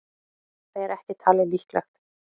Það er ekki talið líklegt.